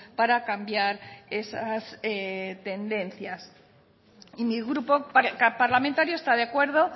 para cambiar esas tendencias mi grupo parlamentario está de acuerdo